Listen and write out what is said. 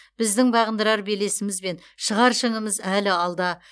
біздің бағындырар белесіміз бен шығар шыңымыз әлі алда